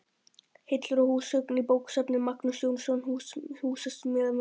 Hillur og húsgögn í bókasafn: Magnús Jónsson, húsasmíðameistari.